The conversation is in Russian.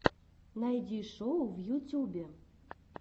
найди шоу в ютюбе